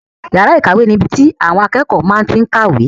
Yàrá ìkàwé ni ibi tí àwọn akẹ́kọ̀ọ́ máa tí n kàwé